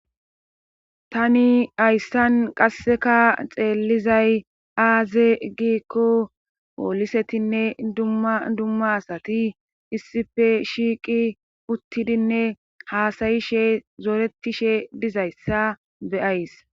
tani ayssan qasseka xeellizay aaze giikko poolisetinne dumma dumma asati issife shiiqi uttidinne haasayishe zooretishe dizayssa beyays